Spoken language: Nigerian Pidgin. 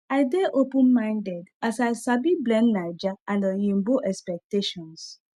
i dey open minded as i sabi blend naija and oyinbo expectations